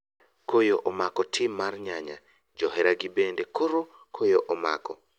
Koyo omako tim mar nyanya ,johera gi bende koro koyo omako.